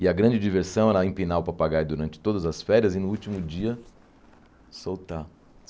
E a grande diversão era empinar o papagaio durante todas as férias e, no último dia, soltar.